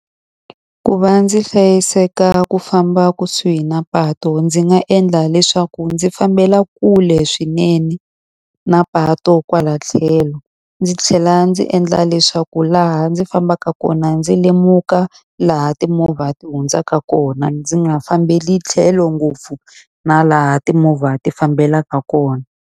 Ku va ndzi hlayiseka ku famba kusuhi na patu ndzi nga endla leswaku ndzi fambela kule swinene na patu kwala tlhelo. Ndzi tlhela a ndzi endla leswaku laha ndzi fambaka ndzi kona ndzi lemuka laha timovha ti hundzaka kona, ndzi nga fambeli tlhelo ngopfu na laha timovha ti fambelaka kona.